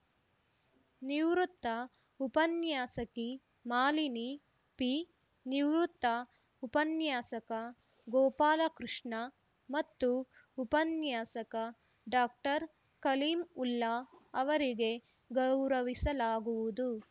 ನಿವೃತ್ತ ಉಪನ್ಯಾಸಕಿ ಮಾಲಿನಿ ಪಿ ನಿವೃತ್ತ ಉಪನ್ಯಾಸಕ ಗೋಪಾಲಕೃಷ್ಣ ಮತ್ತು ಉಪನ್ಯಾಸಕ ಡಾಕ್ಟರ್ ಕಲೀಂವುಲ್ಲಾ ಅವರಿಗೆ ಗೌರವಿಸಲಾಗುವುದು